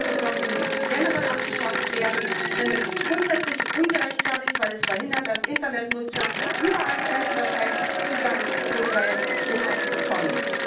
Wir sagen, Geoblocking muss generell abgeschafft werden, denn es ist grundsätzlich ungerechtfertigt, weil es verhindert, dass Internetnutzer überall grenzüberschreitend Zugang zu kulturellen Inhalten bekommen.